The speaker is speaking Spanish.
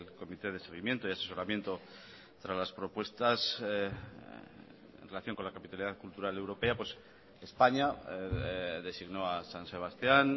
comité de seguimiento y asesoramiento tras las propuestas en relación con la capitalidad cultural europea españa designó a san sebastían